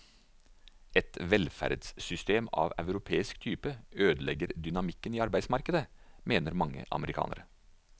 Et velferdssystem av europeisk type ødelegger dynamikken i arbeidsmarkedet, mener mange amerikanere.